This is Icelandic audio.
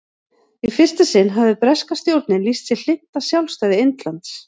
í fyrsta sinn hafði breska stjórnin lýst sig hlynnta sjálfstæði indlands